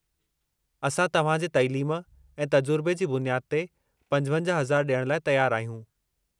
असां तव्हां जे तइलीम ऐं तजुरिबे जी बुनियादु ते 55 हज़ार डि॒यण लाइ तयारु आहियूं।